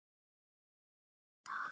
Raunin var án efa önnur.